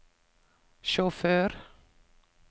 sjåfør